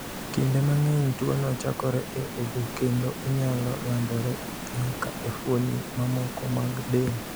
Kinde mang’eny, tuwono chakore e obo kendo onyalo landore nyaka e fuoni mamoko mag del.